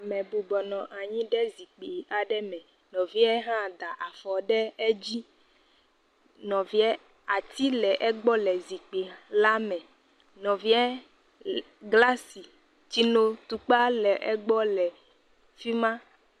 Ame bɔbɔbnɔ anyi ɖe zikpui aɖe me. Nɔvia hã da afɔ ɖe edzi nɔvia ati le egbɔ zikpui la me. Nɔvia glasi, tsinotukpa le egbɔ le fi ma.